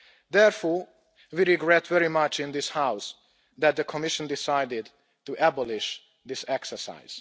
Therefore, we regret very much in this house that the Commission decided to abolish this exercise.